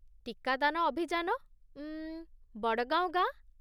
ଟିକାଦାନ ଅଭିଯାନ, ଅମ୍ମ୍, ୱଡ଼ଗାଓଁ ଗାଁ।